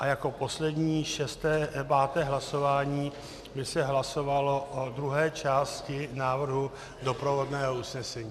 A jako poslední, páté hlasování by se hlasovalo o druhé části návrhu doprovodného usnesení.